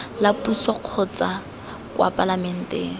la puso kotsa kwa palamenteng